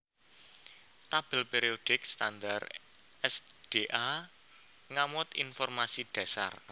Tabèl périodik standar s d a ngamot informasi dhasar